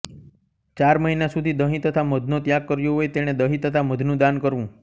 ચાર મહિના સુધી દહી તથા મધનો ત્યાગ કર્યો હોય તેણે દહી તથા મધનું દાન કરવું